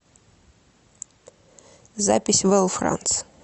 запись вел франц